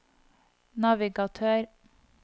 navigatør